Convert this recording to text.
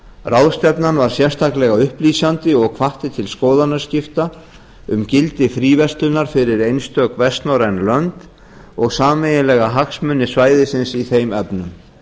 ráðstefnan var sérstaklega upplýsandi og hvatti til skoðanaskipta um gildi fríverslunar fyrir einstök vestnorræn lönd og sameiginlega hagsmuni svæðisins í þeim efnum